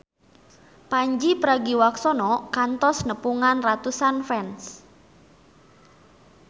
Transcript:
Pandji Pragiwaksono kantos nepungan ratusan fans